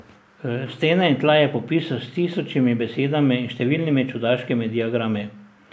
Stene in tla je popisal s tisočimi besedami in številnimi čudaškimi diagrami.